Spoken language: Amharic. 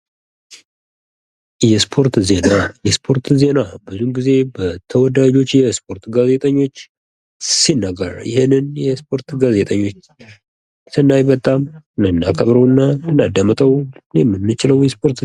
የስፖርት ዜና ፦ የስፖርት ዜና ብዙ ጊዜ በተወዳጆች የስፖርት ጋዜጠኞች ሲነገር ይህንን የስፖርት ጋዜጠኞች ሰናይ በጣም የምናከብረው እና ልናዳምጠው የምንችለው የስፖርት